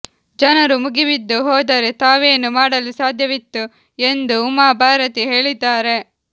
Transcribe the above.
ಜನರು ಮುಗಿಬಿದ್ದು ಹೋದರೆ ತಾವೇನು ಮಾಡಲು ಸಾಧ್ಯವಿತ್ತು ಎಂದು ಉಮಾ ಭಾರತಿ ಹೇಳಿದ್ದಾರೆ